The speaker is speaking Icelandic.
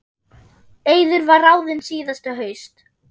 Eiður var ráðinn síðasta haust.